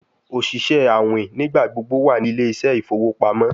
Oṣiṣẹ awin nigbagbogbo wa ni Ile ise ifowo pamo